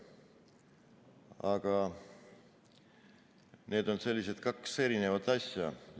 Aga need on kaks eri asja.